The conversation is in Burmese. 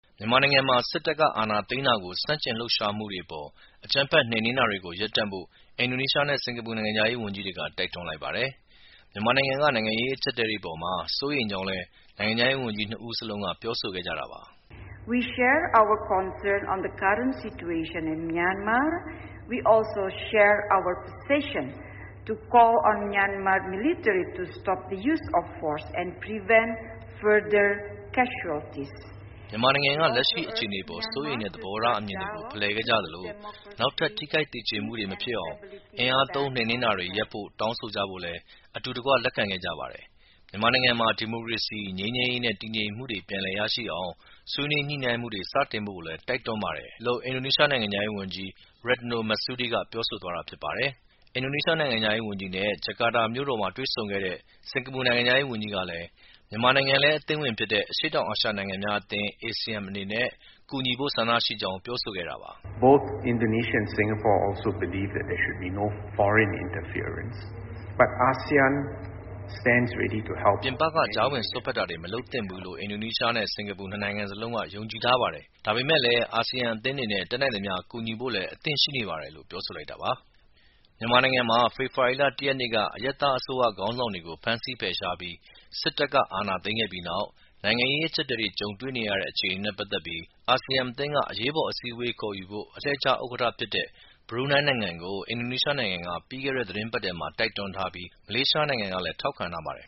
မြန်မာနိုင်ငံမှာ စစ်တပ်က အာဏာသိမ်းတာကို ဆန့်ကျင်လှုပ်ရှားမှုတွေအပေါ် အကြမ်းဖက် နှိမ်နင်းနေတာတွေကို ရပ်ဖို့ အင်ဒိုနီးရှားနဲ့ စင်္ကာပူ နိုင်ငံခြားရေး ဝန်ကြီးတွေက တိုက်တွန်းလိုက်ပါတယ်။ မြန်မာနိုင်ငံက နိုင်ငံရေး အကျပ်အတည်းတွေ အပေါ်မှာ စိုးရိမ်ကြောင်းလည်း နိုင်ငံခြားရေးဝန်ကြီး ၂ ဦးစလုံးက ပြောဆိုခဲ့ကြတာပါ။ “မြန်မာနိုင်ငံက လက်ရှိအခြေအနေအပေါ် စိုးရိမ်တဲ့ သဘောထား အမြင်တွေကို ဖလှယ်ခဲ့ကြသလို၊ နောက်ထပ် ထိခိုက်သေကျေမှုတွေ မဖြစ်အောင် အင်အားသုံးနှိမ်နင်းတာတွေ ရပ်ဖို့ တောင်းဆိုကြဖို့လည်း အတူတကွ လက်ခံခဲ့ကြပါတယ်။ မြန်မာနိုင်ငံမှာ ဒီမိုကရေစီ၊ ငြိမ်းချမ်းရေးနဲ့ တည်ငြိမ်မှုတွေ ပြန်လည်ရရှိအောင် ဆွေးနွေးညှိနှိုင်းမှုတွေ စတင်ဖို့လည်း တိုက်တွန်းပါတယ်။” လို့ အင်ဒိုနီးရှား နိုင်ငံခြားရေးဝန်ကြီး Retno Marsudi က ပြောဆိုသွားတာ ဖြစ်ပါတယ်။ အင်ဒိုနီးရှား နိုင်ငံခြားရေးဝန်ကြီးနဲ့ ဂျာကာတာမြို့တော်မှာ တွေ့ဆုံခဲ့တဲ့ စင်္ကာပူနိုင်ငံခြားရေး ဝန်ကြီးကလည်း မြန်မာနိုင်ငံလည်း အသင်းဝင်ဖြစ်တဲ့ အရှေ့တောင်အာရှ နိုင်ငံများအသင်း ASEAN အနေနဲ့ ကူညီဖို့ ဆန္ဒရှိကြောင်း ပြောဆိုခဲ့တာပါ။ “ပြည်ပက ကြားဝင်စွက်ဖက်တာတွေ မလုပ်သင့်ဘူးလို့ အင်ဒိုနီးရှားနဲ့ စင်္ကာပူ ၂ နိုင်ငံစလုံးက ယုံကြည်ထားပါတယ်။ ဒါပေမဲ့လည်း အာဆီယံအသင်းအနေနဲ့ တတ်နိုင်သမျှ ကူညီဖို့လည်း အသင့်ရှိနေပါတယ်။” လို့ ပြောဆိုလိုက်တာပါ။ မြန်မာနိုင်ငံမှာ ဖေဖော်ဝါရီလ ၁ ရက်နေ့က အရပ်သားအစိုးရ ခေါင်းဆောင်တွေကို ဖမ်းဆီးဖယ်ရှားပြီး စစ်တပ်က အာဏာသိမ်းခဲ့ပြီးနောက် နိုင်ငံရေး အကျပ်အတည်းတွေ ကြုံနေရတဲ့ အခြေအနေနဲ့ ပတ်သက်ပြီး အာဆီယံအသင်းက အရေးပေါ် အစည်းအဝေးခေါ်ဖို့ အလှည့်ကျဥက္ကဋ္ဌဖြစ်တဲ့ ဘရူနိုင်းနိုင်ငံကို အင်ဒိုနီးရှားနိုင်ငံက ပြီးခဲ့တဲ့ သီတင်းပတ်ထဲမှာပဲ တိုက်တွန်းထားပြီး၊ မလေးရှားနိုင်ငံကလည်း ထောက်ခံထားပါတယ်